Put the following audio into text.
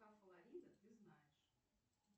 флорида ты знаешь